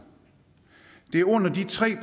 det er under de tre